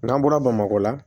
N'an bɔra bamakɔ la